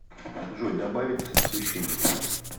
джой добавить освещение